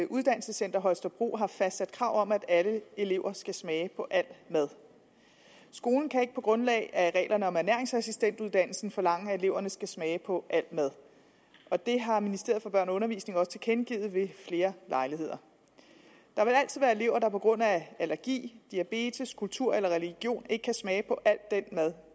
uddannelsescenter holstebro har fastsat krav om at alle elever skal smage på al mad skolen kan ikke på grundlag af reglerne om ernæringsassistentuddannelsen forlange at eleverne skal smage på al mad og det har ministeriet for børn og undervisning også tilkendegivet ved flere lejligheder der vil altid være elever der på grund af allergi diabetes kultur eller religion ikke kan smage på al den mad